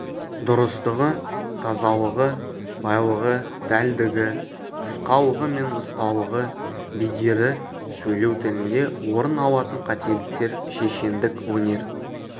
дұрыстығы тазалығы байлығы дәлдігі қысқалығы мен нұсқалығы бедері сөйлеу тілінде орын алатын қателіктер шешендік өнер